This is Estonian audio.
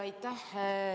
Aitäh!